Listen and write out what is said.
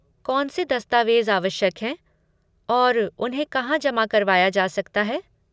कौन से दस्तावेज़ आवश्यक हैं और उन्हें कहाँ जमा करवाया जा सकता है?